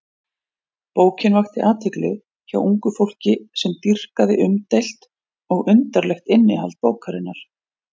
Bókin vakti athygli hjá ungu fólki sem dýrkaði umdeilt og undarlegt innihald bókarinnar.